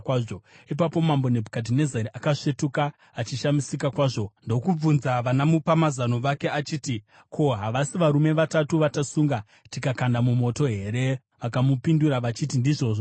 Ipapo Mambo Nebhukadhinezari akasvetuka achishamisika kwazvo ndokubvunza vanamupamazano vake achiti, “Ko, havasi varume vatatu vatasunga tikakanda mumoto here?” Vakamupindura vachiti, “Ndizvozvo mambo.”